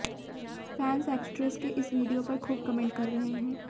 fans actress के इस video पर खूब कमेंट कर रहे हैं